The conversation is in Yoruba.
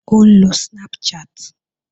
Ó ń lo Snapchat